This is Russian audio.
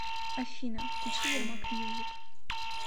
афина включи ярмак мьюзик